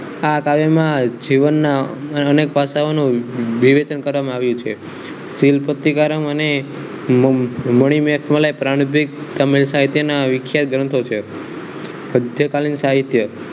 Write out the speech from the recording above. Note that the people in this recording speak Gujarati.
આ કાર્યમાં જીવનના અનેક પાટાનો વિભેદન કરવામાં આવ્યું છે તીન પત્તી કારમ અને મણીમેટ મલાય વિખ્યાત ગ્રંથો છે